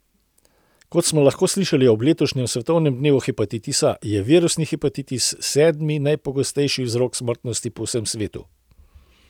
Kot smo lahko slišali ob letošnjem svetovnem dnevu hepatitisa, je virusni hepatitis sedmi najpogostejši vzrok smrtnosti po vsem svetu.